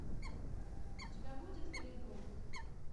у тебя будет волейбол